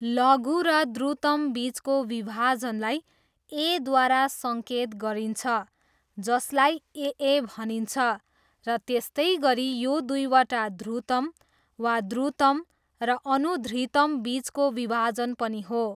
लघु र द्रुतमबिचको विभाजनलाई 'ए'द्वारा सङ्केत गरिन्छ, जसलाई 'ए ए' भनिन्छ, र त्यस्तै गरी यो दुईटा ध्रुतम वा ध्रुतम र अनुधृतमबिचको विभाजन पनि हो।